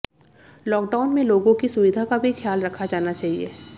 lockdown में लोगों की सुविधा का भी ख्याल रखा जाना चाहिए